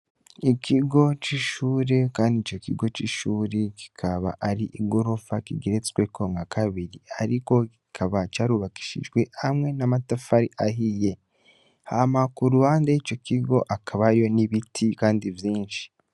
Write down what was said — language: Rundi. ikigo c'ishure kandi ico kigo c'ishure kikaba ari igorofa kigeretsweko nka kabiri ariko kikaba carubakishijwe hamwe n'amatafari ahiye. Hama ku ruhande y'ico kigo hakaba hariyo n'ibiti kandi vyinshi.